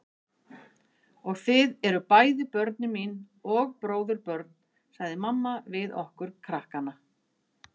Og þið eruð bæði börnin mín og bróðurbörn sagði mamma við okkur krakkana.